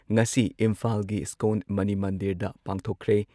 ꯉꯁꯤ ꯏꯝꯐꯥꯜꯒꯤ ꯏꯁꯀꯣꯟ ꯃꯅꯤ ꯃꯟꯗꯤꯔꯗ ꯄꯥꯡꯊꯣꯛꯈ꯭ꯔꯦ꯫